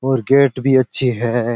और गेट भी अच्छे है।